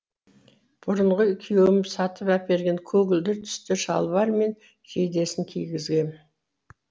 бұрынғы күйеуім сатып әперген көгілдір түсті шалбар мен жейдесін кигізгем